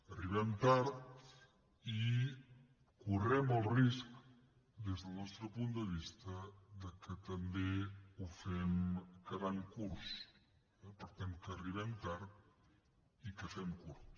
arribem tard i correm el risc des del nostre punt de vista que també ho fem quedant curts per tant que arribem tard i que fem curt